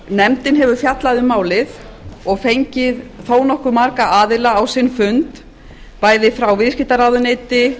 nefndin hefur fjallað um málið og fengið þó nokkuð marga aðila á sinn fund bæði frá viðskiptaráðuneyti